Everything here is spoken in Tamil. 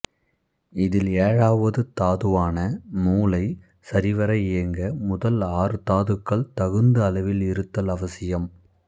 இதில் ஏழாவது தாதுவான மூளை சரிவர இயங்க முதல் ஆறு தாதுக்கள் தகுந்த அளவில் இருத்தல் அவசியம்